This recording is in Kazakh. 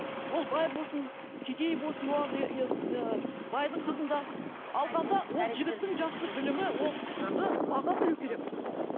ол бай болсын кедей болсын байдың қызын да алғанда ол жігіттің жақсы білімі ол қызды баға білуі керек